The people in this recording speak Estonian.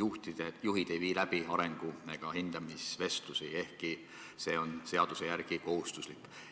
juhid ei vii läbi arengu- ega hindamisvestlusi, ehkki see on seaduse järgi kohustuslik.